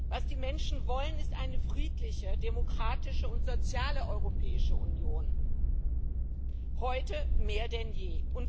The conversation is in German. Was die Menschen wollen, ist eine friedliche, demokratische und soziale Europäische Union heute mehr denn je.